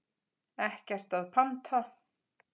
Ekkert að panta.